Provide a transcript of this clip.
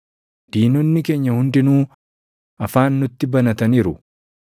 “Diinonni keenya hundinuu, afaan nutti banataniiru.